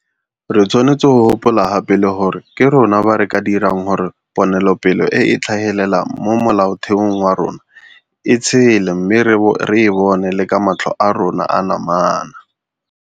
Re tshwanetse go gopola gape le gore ke rona ba re ka dirang gore ponelopele e e tlhagelelang mo Molaotheong wa rona e tshele mme re e bone le ka matlho a rona a namana.